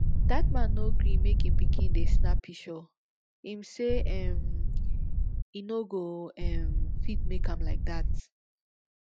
dat man no gree make im pikin dey snap pishure im say um e no go um fit make am like that